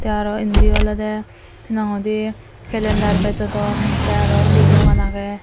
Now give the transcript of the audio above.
tey aro indi olowdey hinang hoidey klander bejodon tey aro undi dogan agey.